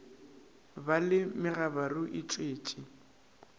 ba le megabaru e tšwetše